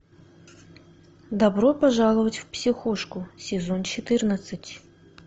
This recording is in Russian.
добро пожаловать в психушку сезон четырнадцать